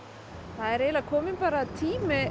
það er bara kominn tími